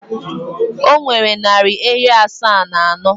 O nwere narị ehi asaa na anọ.